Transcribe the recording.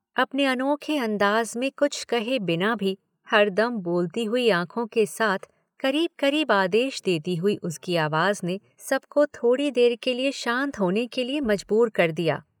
अपने अनोखे अंदाज में कुछ कहे बिना भी हरदम बोलती हुई आंखों के साथ करीब करीब आदेश देती हुई उसकी आवाज ने सबको थोड़ी देर के लिए शांत होने के लिए मजबूर कर दिया।